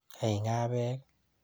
Kaing'a peek?